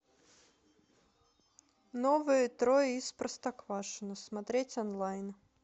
новые трое из простоквашино смотреть онлайн